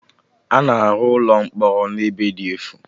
A na-arụ ụlọ mkpọrọ na ebe dị efu